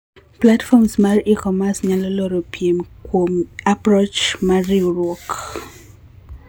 Platform mar e-commerce nyalo loro piem kuom approach mar riuruok.